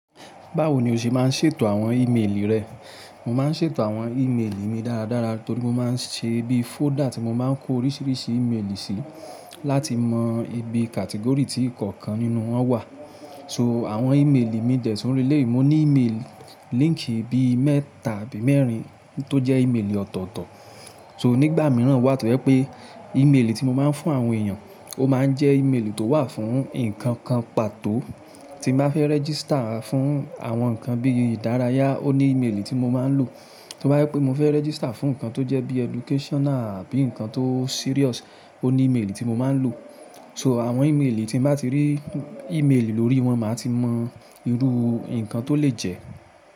Báwo ni o ṣe máa ń ṣètò àwọn ímeèlì rẹ? Mo máa ń ṣètò àwọn ímeèlì mi dáradára torí mo máa ń ṣe bí fóldà tí mo máa ń kó oríṣiríṣi ímeèlì sí láti mọ ibi kàtégórì tí ìkọ̀ọ̀kan nínú wọn wà. So àwọn ímeèlì mi dẹ̀ tún rí léyìí, mo ní ímeèlì líńkì bí mẹ́ta àbí mẹ́rin tó jẹ́ ímeèlì ọ̀tọ̀ọ̀tọ̀. So nígbà mìíràn wà tó jẹ́ pé ímeèlì tí mo máa ń fún àwọn èèyàn, ó máa ń jẹ́ ímeèlì tó wà fún nǹkan kan pàtó. Tí mo bá fẹ́ rẹ́jísítà fún àwọn nǹkan bí ìdárayá, ó ní ímeèlì tí mo máa ń lò. Tí mo bá rí pé mo fẹ́ rẹ́jísítà fún nǹkan tó jẹ́ bí educational bí nǹkan tó serious, ó ní ímeèlì tí mo máa ń lò. So àwọn ímeèlì tí n bá ti rí ímeèlì lórí wọn, màá ti mọ irú nǹkan tó lè jẹ́.